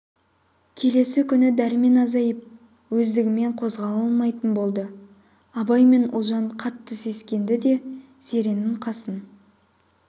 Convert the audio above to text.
келесі күні дәрмен азайып өздігімен қозғала алмайтын болды абай мен ұлжан қатты сескенді де зеренің қасын